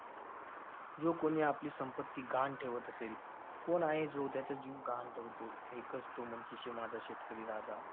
जो कोणी आपली संपत्ती गहाण ठेवत असेल, कोण आहे जो त्याचा जीव गहाण ठेवतो? एकच तो म्हणजे शे~ माझा शेतकरी राजा.